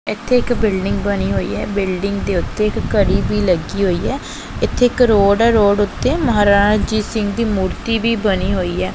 ਇੱਥੇ ਇੱਕ ਬਿਲਡਿੰਗ ਬਣੀ ਹੋਈ ਹੈ ਬਿਲਡਿੰਗ ਦੇ ਉੱਤੇ ਇੱਕ ਘੜੀ ਵੀ ਲੱਗੀ ਹੋਈ ਹੈ ਇੱਥੇ ਇੱਕ ਰੋਡ ਹੈ ਰੋਡ ਉੱਤੇ ਮਹਾਰਾਜ ਰਣਜੀਤ ਸਿੰਘ ਜੀ ਦੀ ਮੂਰਤੀ ਵੀ ਬਣੀ ਹੋਈ ਹੈ।